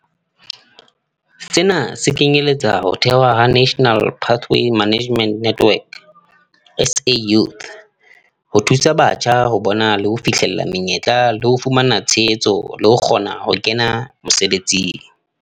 Sena se kenyeletsa ho thehwa ha National Pathway Management Network, SA Youth, ho thusa batjha ho bona le ho fihlella menyetla le ho fumana tshehetso le ho kgona ho kena mosebetsing.